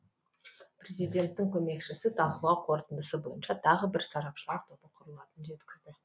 президенттің көмекшісі талқылау қорытындысы бойынша тағы бір сарапшылар тобы құрылатынын жеткізді